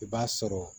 I b'a sɔrɔ